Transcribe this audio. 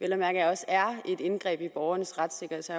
at mærke også er et indgreb i borgernes retssikkerhed så